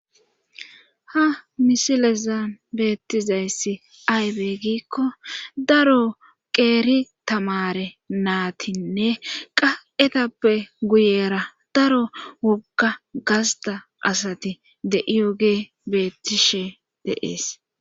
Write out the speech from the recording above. ha misilezan beettizayssi aybey giikko daro qeeri tamare naatinne qa7etappe guyera daro wogga gasta asati de7iyogee bettishe deees